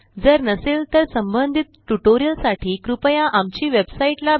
जर नसेल तर संबंधित ट्यूटोरियल साठी कृपया आमची वेबसाइट httpspoken tutorialorg